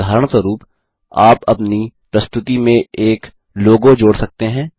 उदाहरणस्वरूप आप अपनी प्रस्तुति में एक लोगो जोड़ सकते हैं